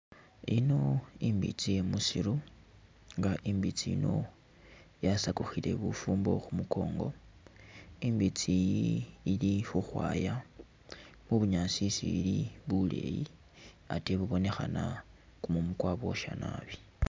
Ino imbitsi iye musiru nga imbitsi ino yasakukhile bufumbo khu’mukongo ,imbitsi iyi ili khukhwaya khu’bunyasi isi ili buleyi atee ibonekhana kumumu kwabosha nabi.